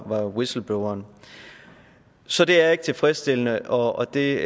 var whistlebloweren så det er ikke tilfredsstillende og det